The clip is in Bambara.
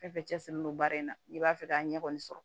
Fɛn fɛn cɛsiri don baara in na n'i b'a fɛ k'a ɲɛ kɔni sɔrɔ